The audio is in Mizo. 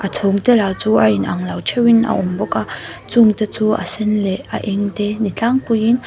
chhum te lah chu a inang lo theuhin a awm bawk a chung te chu a sen leh a eng te ni tlangpuiin--